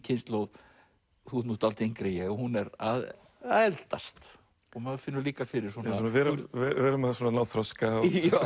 kynslóð þú ert nú dálítið yngri en ég að hún er að eldast og maður finnur líka fyrir við erum svona að ná þroska